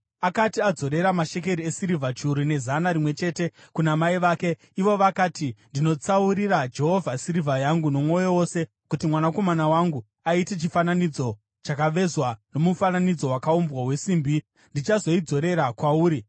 Akati adzorera mashekeri esirivha chiuru nezana rimwe chete, kuna mai vake, ivo vakati, “Ndinotsaurira Jehovha sirivha yangu nomwoyo wose kuti mwanakomana wangu aite chifananidzo chakavezwa nomufananidzo wakaumbwa wesimbi. Ndichazoidzosera kwauri.”